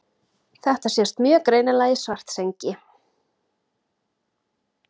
Þetta sést mjög greinilega í Svartsengi.